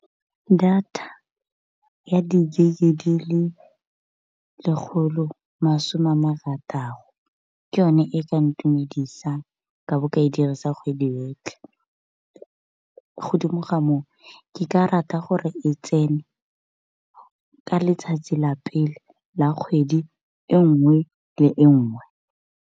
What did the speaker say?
Data ya di-gig di le lekgolo masome a marataro, ke yone e ka ntumedisang ka bo ka e dirisa kgwedi yotlhe. Godimo ga moo ke ka rata gore e tsene ka letsatsi la pele la kgwedi e nngwe le e nngwe.